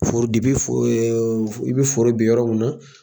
Foro depi fo e ɛ ɛ i be foro bin yɔrɔ min na